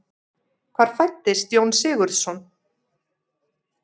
Hvar fæddist Jón Sigurðsson?